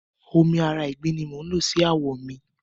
Omi ara ìgbín ni mò ń lò sí àwọ̀ mi.